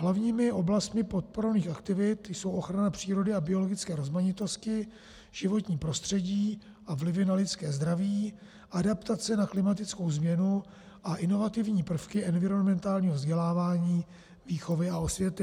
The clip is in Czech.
Hlavními oblastmi podporovaných aktivit jsou ochrana přírody a biologické rozmanitosti, životní prostředí a vlivy na lidské zdraví, adaptace na klimatickou změnu a inovativní prvky environmentálního vzdělávání, výchovy a osvěty.